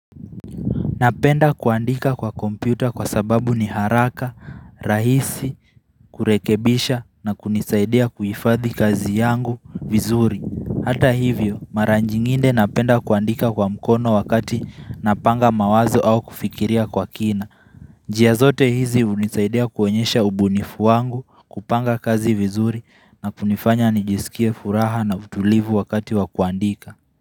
Napenda kuandika kwa kompyuta kwa sababu ni haraka, rahisi, kurekebisha na kunisaidia kuifadhi kazi yangu vizuri. Hata hivyo, maranjingine napenda kuandika kwa mkono wakati napanga mawazo au kufikiria kwa kina. Jia zote hizi unisaidia kuonyesha ubunifu wangu kupanga kazi vizuri na kunifanya nijisikie furaha na utulivu wakati wakuandika.